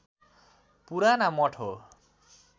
पुराना मठ हो